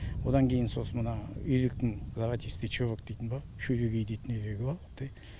одан кейін сосын мына үйректің золотистый чувок дейтіні бар шүрегей дейтін үйрегі бар құттай